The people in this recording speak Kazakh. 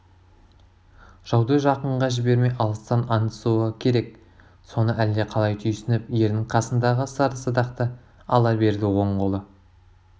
жауды жақынға жібермей алыстан аңдысуы керек соны әлде қалай түйсініп ердің қасындағы сары садақты ала берді оң қолы